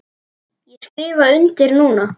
Ég skrifa undir núna.